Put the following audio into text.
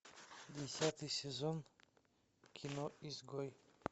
десятый сезон кино изгой